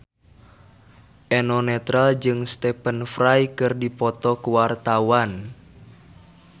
Eno Netral jeung Stephen Fry keur dipoto ku wartawan